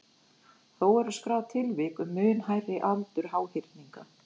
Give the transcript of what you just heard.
þó eru skráð tilvik um mun hærri aldur háhyrninga